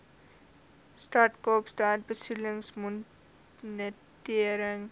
stad kaapstad besoedelingsmonitering